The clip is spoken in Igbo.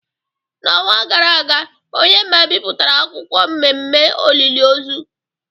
N’ọnwa gara aga, Onyema bipụtara akwukwuo mmemme olili ozu.